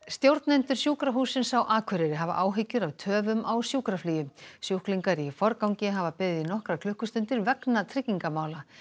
stjórnendur Sjúkrahússins á Akureyri hafa áhyggjur af töfum á sjúkraflugi sjúklingar í forgangi hafa beðið í nokkrar klukkustundir vegna tryggingamála